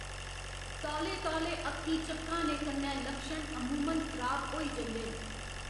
तौले तौले अक्खीं झपकाने कन्नै लक्षण अमूमन खराब होई जंदे न।